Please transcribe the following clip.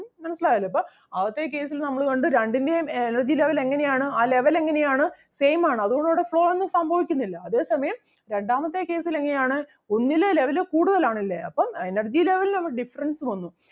മനസ്സിലായല്ലോ? അപ്പം ആദ്യത്തെ case ൽ നമ്മള് കണ്ടു രണ്ടിന്റേം energy level എങ്ങനെ ആണ് ആ level എങ്ങനെ ആണ് same ആണ് അതുകൊണ്ട് അവിടെ flow ഒന്നും സംഭവിക്കുന്നില്ല അതേ സമയം രണ്ടാമത്തെ case ൽ എങ്ങനെ ആണ് ഒന്നില് level കൂടുതൽ ആണല്ലേ അപ്പം energy level ന് ഒരു difference വന്നു.